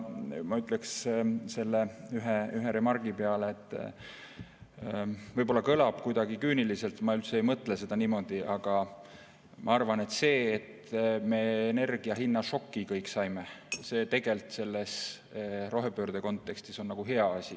Ma ütleks selle ühe remargi peale – võib-olla see kõlab kuidagi küüniliselt, ma üldse ei mõtle seda niimoodi –, et ma arvan, et see, et me kõik energiahinna šoki saime, on tegelikult rohepöörde kontekstis hea asi.